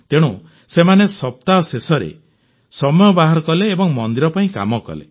ତେଣୁ ସେମାନେ ସପ୍ତାହ ଶେଷରେ ସମୟ ବାହାର କଲେ ଓ ମନ୍ଦିର ପାଇଁ କାମ କଲେ